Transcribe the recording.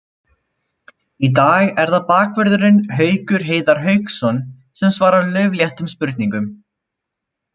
Í dag er það bakvörðurinn Haukur Heiðar Hauksson sem svarar laufléttum spurningum.